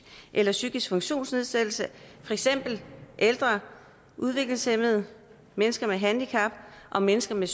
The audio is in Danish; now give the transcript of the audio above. eller psykisk funktionsnedsættelse for eksempel ældre udviklingshæmmede mennesker med handicap og mennesker med